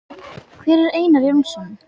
Hver er Einar Jónsson?